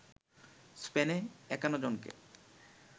স্পেনে ৫১ জনকে